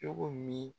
Cogo min